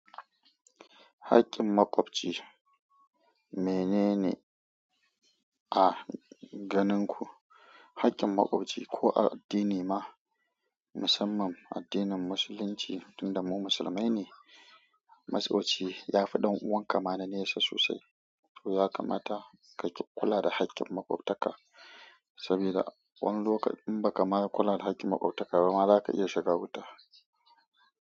Hakkin maƙwabci menene? A ganin ku, haƙƙin maƙwabci ko a addini ma musamman addinin Musulunci, tun da mu musulmai ne, maƙwabci ya fi ɗan'uwan ka ma na nesa sosai. To ya kamata ka kula da haƙƙin maƙwabtaka saboda wani lokaci in ba ka ma kula da haƙƙin maƙwabtaka ba, za ka iya shiga wuta.